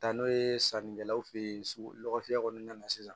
Taa n'o ye sannikɛlaw fe ye sugu lɔkɔfiyɛ kɔnɔna na sisan